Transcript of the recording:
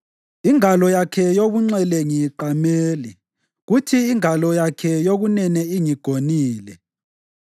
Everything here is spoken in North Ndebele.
Ingalo yakhe yobunxele ngiyiqamele, kuthi ingalo yakhe yokunene ingigonile.